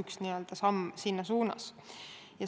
üks samm selles suunas.